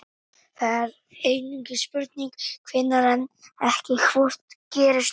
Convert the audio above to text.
Það er því einungis spurning hvenær en ekki hvort gerist aftur.